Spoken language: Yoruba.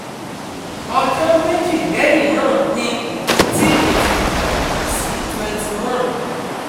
ọjọ́ méjì lẹ́yìn náà ni ìdọ̀tí mi ti dàgbà sí twenty-one